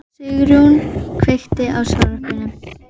Garpur minn var í tilsjá Péturs Hjálmssonar í